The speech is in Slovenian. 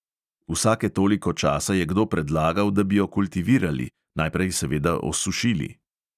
Vsake toliko časa je kdo predlagal, da bi jo kultivirali, najprej seveda osušili.